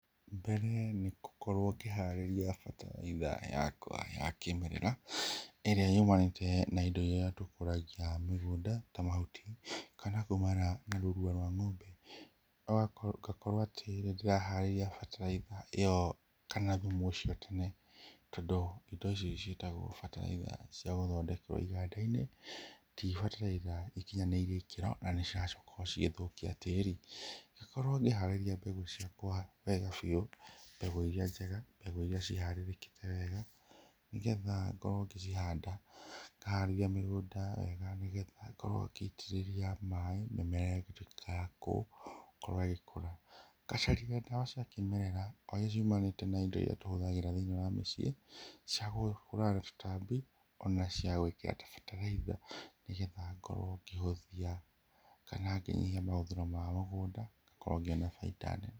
Rĩrĩa nĩĩ ngũkorwo ngĩharĩria bataraitha yakwa ya kĩmerera, ĩrĩa yũmanĩte na indo irĩa tũkũragia mĩgũnda ta mahuti, kana kumana na rũrua rwa ng'ombe. Ngakorwo atĩ nĩndĩraharĩria bataraitha ĩyo kana thumu ũcio tene, tondũ indo icio ciĩtagwo bataraitha cia gũthondekerwo iganda-inĩ, ti bataraitha ikinyanĩirie ikĩro na nĩ bataraitha cirakorwo igĩthũkia tĩri. Ngakorwo ngĩharĩria mbegũ ciakwa wega biũ, mbegũ irĩa njega mbegũ iria ciharĩrĩkĩte wega, nĩgetha ngorwo ngĩcihanda ngaharĩrĩa mĩgũnda wega, nĩgetha ngorwo ngĩitĩrĩria maaĩ na mĩmera ĩgakorwo ĩgĩtuĩka ya gũkorwo ĩgĩkũra. Ngacaria indo cia kĩmerera o irĩa ciumanĩte na indo irĩa tũrahũthĩra mũciĩ cia kũhũrana na tũtambi ona ciagwĩkĩra ta bataraitha, nĩgetha ngorwo ngĩhũthia kana ngĩnyihia mahũthĩro ma mũgũnda na ngakorwo ngĩona bainda nene.